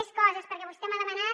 més coses perquè vostè m’ha demanat